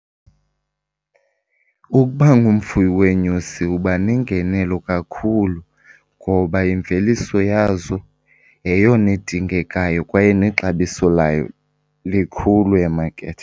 Ukuba ungumfuyi weenyosi uba nengenelo kakhulu ngoba imveliso yazo yeyona idingekayo kwaye nexabiso layo likhulu emakethe.